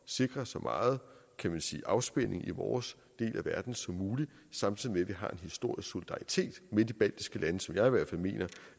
sikre så meget afspænding i vores del af verden som muligt samtidig med at vi har en historisk solidaritet med de baltiske lande som jeg i hvert fald mener